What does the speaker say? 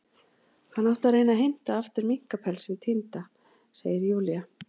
Hann átti að reyna að heimta aftur minkapelsinn týnda, segir Júlía.